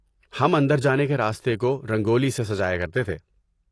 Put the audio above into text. ہم اندر جانے کے راستے کو رنگولی سے سجایا کرتے تھے۔